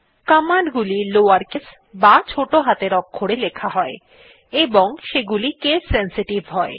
command গুলি lower case বা ছোটো হাতের অক্ষরে লেখা হয় এবং সেগুলি কেস সেনসিটিভ হয়